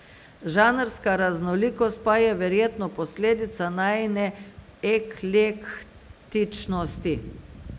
Žanrska raznolikost pa je verjetno posledica najine eklektičnosti.